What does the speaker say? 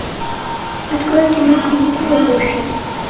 открой кино каникулы гуфи